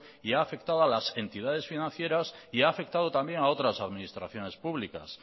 y ha afectado a las entidades financieras y ha afectado también a otras administraciones públicas